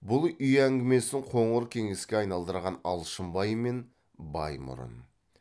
бұл үй әңгімесін қоңыр кеңеске айналдырған алшынбай мен баймұрын